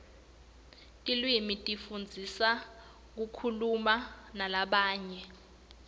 tilwimi tisifundzisa kukhuluma nalabanye